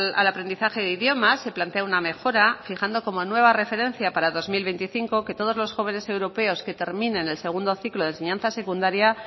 al aprendizaje de idiomas se plantea una mejora fijando como nueva referencia para dos mil veinticinco que todos los jóvenes europeos que terminen el segundo ciclo de enseñanza secundaria